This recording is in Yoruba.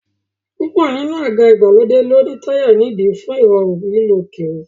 Púpọ̀ nínú àga ìgbàlódé ni ó ní táyà nídìí fún Ìrọ̀rùn lílọ kiri